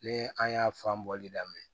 Ne an y'a fan bɔli daminɛ